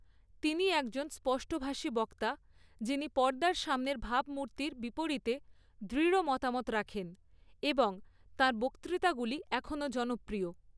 তিনি একজন স্পষ্টভাষী বক্তা যিনি পর্দার সামনের ভাবমূর্তির বিপরীতে দৃঢ় মতামত রাখেন এবং তাঁর বক্তৃতাগুলি এখনও জনপ্রিয়।